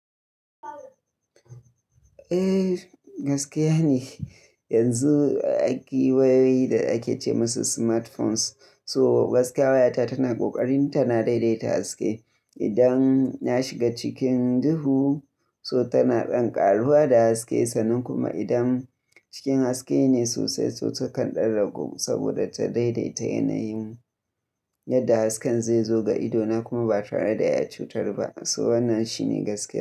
Eh gaskiya ne yanzu akwai wayoyi da ake ce musu smartphones. So gaskiya wayata tana kokarin tana daidaita haske. Idan na shiga cikin duhu so tana ɗan ƙaruwa da haske sannan kuma idan cikin haske ne sosai to ta kan ɗan ragu saboda ta daidaita yanayin yadda hasken zaizo ga idona na kuma ba tare da ya cutar ba. So wannan shine gaskiya.